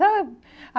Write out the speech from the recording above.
Sabe?